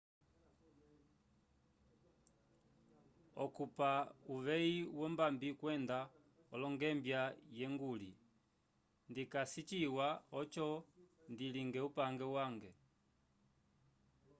okupa uveyi wo mbambi kwenda olungembia ye nguli ndikasi ciwa oco ndilinge upange wange